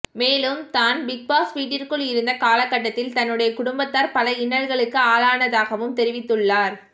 மேலும் தான் பிக்பாஸ் வீட்டிற்குள் இருந்த காலகட்டத்தில் தன்னுடைய குடும்பத்தார் பல இன்னல்களுக்கு ஆளானதாகவும் தெரிவித்துள்ளார்